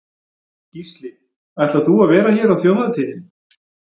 Gísli: Ætlar þú að vera hér á þjóðhátíðinni?